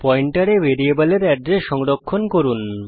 পয়েন্টারে ভ্যারিয়েবলের এড্রেস সংরক্ষণ করুন